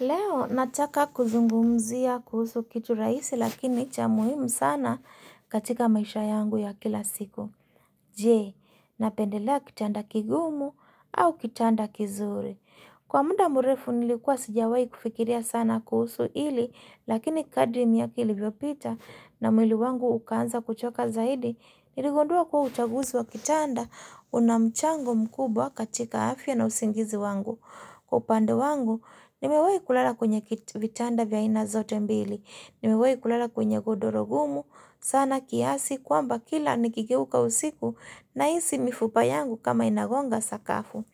Leo, nataka kuzungumzia kuhusu kitu rahisi lakini cha muhimu sana katika maisha yangu ya kila siku. Je, napendelea kitanda kigumu au kitanda kizuri. Kwa munda murefu nilikuwa sijawai kufikilia sana kuhusu ili lakini kadrimi miaka kilivyopita na mwili wangu ukanza kuchoka zaidi, iligondua kwa utaguzi wa kitanda unamchango mkubwa katika afya na usingizi wangu. Upande wangu, nimewai kulala kwenye vitanda vya ina zote mbili. Nimewai kulala kwenye godoro gumu. Sana kiasi kwamba kila nikigewuka usiku na isi mifupa yangu kama inagonga sakafu.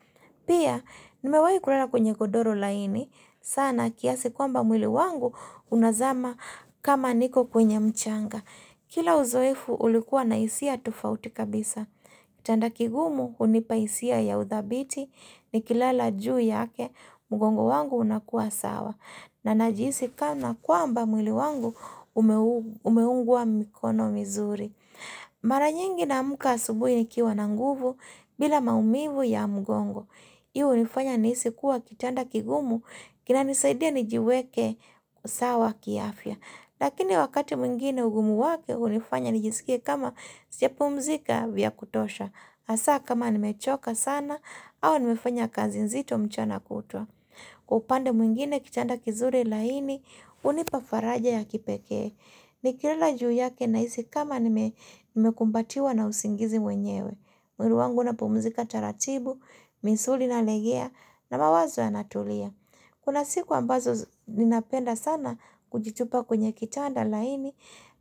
Pia, nimewayi kulala kwenye godoro laini. Sana kiasi kwamba mwili wangu unazama kama niko kwenye mchanga. Kila uzoefu ulikuwa na hisia tufauti kabisa. Chanda kigumu unipaisia ya uthabiti ni kilala juu yake mgongo wangu unakua sawa. Na najisi kama kwamba mwili wangu umeungua mikono mizuri. Mara nyingi naamka asubui nikiwa na nguvu bila maumivu ya mgongo Iyo unifanya nisi kuwa kitanda kigumu kina nisaidia nijiweke usawa kiafya. Lakini wakati mwingine ugumu wake unifanya nijisikia kama sijapumzika vya kutosha. Hasa kama nimechoka sana au nimefanya kazi nzito mchana kutua Kupande mwingine kitanda kizuri laini hunipa faraja ya kipeke ni kilala juu yake na hisi kama nime kumbatiwa na usingizi wenyewe. Mwili wangu unapumzika taratibu, misuli ina legea na mawazo yanatulia Kuna siku ambazo ninapenda sana kujitupa kwenye kitanda laini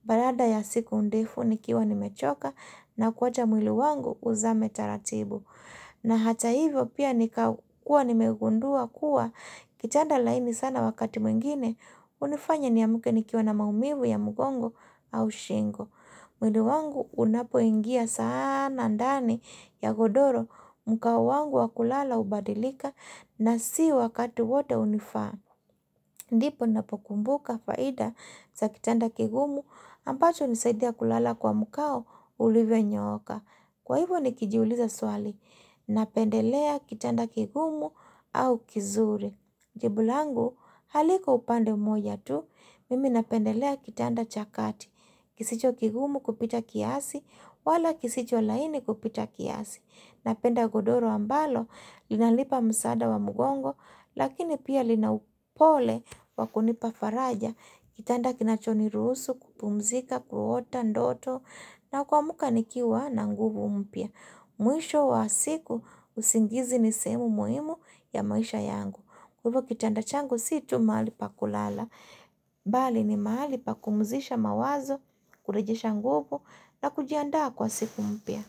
Barada ya siku undefu nikiwa nimechoka na kuwacha mwili wangu uzame taratibu na hata hivyo pia nika kuwa nimeugundua kuwa Kichanda laini sana wakati mwingine hunifanya niamuke nikiwa na maumivu ya mgongo au shingo. Mwili wangu unapo ingia saana ndani ya godoro mkao wangu wakulala hubadilika na si wakati wote unifaa. Ndipo unapokumbuka faida za kitanda kigumu ambacho hunisaidia kulala kwa mkao ulivyonyooka. Kwa hivyo nikijiuliza swali napendelea kitanda kigumu au kizuri. Jibu langu haliko upande umoja tu, mimi napendelea kitanda chakati. Kisicho kigumu kupita kiasi, wala kisicho laini kupita kiasi. Napenda godoro ambalo, linalipa msada wa mugongo, lakini pia lina upole wa kunipa faraja Kitanda kinacho niruhusu kupumzika, kuota ndoto, na kuamka nikiwa na nguvu mpya. Mwisho wa siku, usingizi nisehemu muhimu ya maisha yangu. Hivyo kitanda changu si tu mahali pa kulala Bali ni mahali pakumuzisha mawazo Kulejesha nguvu na kujianda kwa siku mpya.